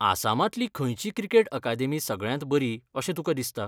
आसामांतली खंयची cricket academy सगळ्यांत बरी अशें तुका दिसता?